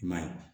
I man ye